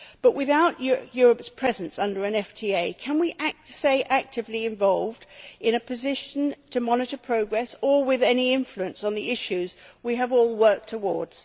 Without Europe's presence under an FTA can we stay actively involved, and be in a position to monitor progress or exercise any influence on the issues we have all worked towards?